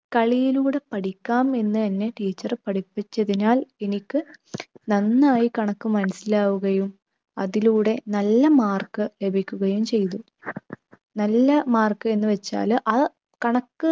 കളിയിലൂടെ പഠിക്കാം എന്ന് എന്നെ teacher പഠിപ്പിച്ചതിനാൽ എനിക്ക് നന്നായി കണക്ക് മനസ്സിലാവുകയും അതിലൂടെ നല്ല mark ലഭിക്കുകയും ചെയ്തു. നല്ല mark എന്ന് വച്ചാൽ ആ കണക്ക്